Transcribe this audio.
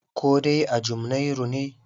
Koh dai a Jumnairu ne?